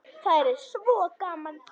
Það yrði svo gaman.